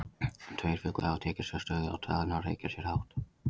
Tveir fuglar hafa svo tekið sér stöðu á taðinu og hreykja sér hátt.